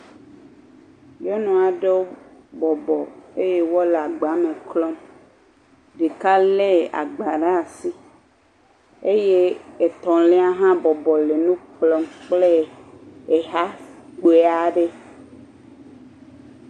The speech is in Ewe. Nyɔnu aɖe bɔbɔ eye wolé agba me klɔm ɖeka lé agba ɖe asi eye etɔ̃lia hã le nu kplɔm kple exa kpui aɖe.